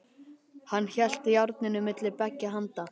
Hann hélt járninu milli beggja handa.